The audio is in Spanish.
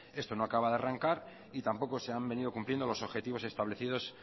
esto no acaba de arrancar y tampoco se han venido cumpliendo los objetivos establecidos